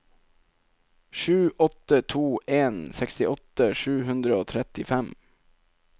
sju åtte to en sekstiåtte sju hundre og trettifem